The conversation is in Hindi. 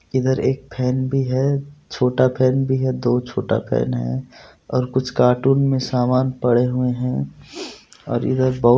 इधर एक फैन भी है छोटा फैन भी है दो छोटा फैन है और कुछ कार्टून में सामान पड़े हुए है और इधर बहु--